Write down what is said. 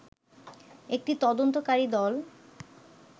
একটি তদন্তকারী দল